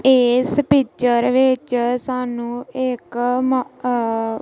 ਇਸ ਪਿਕਚਰ ਵਿੱਚ ਸਾਨੂੰ ਇੱਕ----